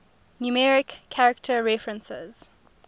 numeric character references